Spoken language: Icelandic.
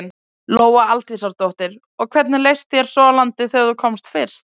Lóa Aldísardóttir: Og hvernig leist þér svo á landið þegar þú komst fyrst?